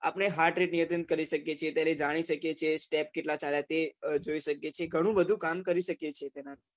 આપને hart rate નિયંત્રણ કરી શકીએ છીએ તેને જાણી શકીએ છીએ step કેટલા થયા તે જોઈ શકીએ છીએ ઘણું બધું કામ કરી શકીએ છીએ.